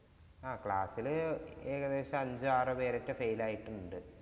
ആഹ് class ഇല് ഏകദേശം അഞ്ചോ ആറോ പേരോക്കെ fail ആയിട്ടുണ്ട്